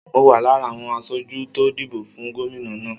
Mo wà lára àwọn aṣojú tó dìbò fún gómìnà náà.